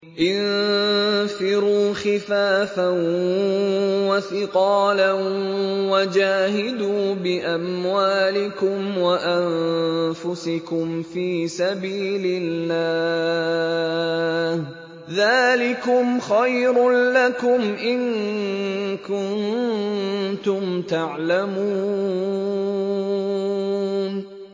انفِرُوا خِفَافًا وَثِقَالًا وَجَاهِدُوا بِأَمْوَالِكُمْ وَأَنفُسِكُمْ فِي سَبِيلِ اللَّهِ ۚ ذَٰلِكُمْ خَيْرٌ لَّكُمْ إِن كُنتُمْ تَعْلَمُونَ